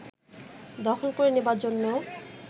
দখল করে নেবার জন্য